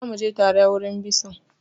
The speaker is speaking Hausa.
Za mu je tare wurin bison!